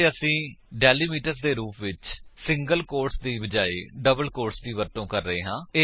ਅਤੇ ਅਸੀ ਡੈਲਿਮੀਟਰਸ ਦੇ ਰੂਪ ਵਿੱਚ ਸਿੰਗਲ ਕੋਟਸ ਦੇ ਬਜਾਏ ਡਬਲ ਕੋਟਸ ਦੀ ਵਰਤੋ ਕਰ ਰਹੇ ਹਾਂ